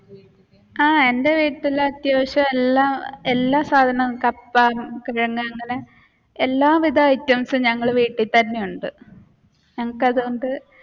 ആഹ് എന്റെ വീട്ടിൽ അത്യാവശ്യം എല്ലാ എല്ലാ സാധനം എല്ലാ വിധ ഐറ്റംസും ഞങ്ങൾ വീട്ടിൽ തന്നെ ഉണ്ട്. ഞങ്ങൾക്ക് അതുകൊണ്ടു